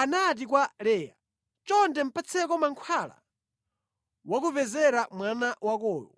anati kwa Leya, “Chonde patseko mankhwala wakupezera mwana wakowo.”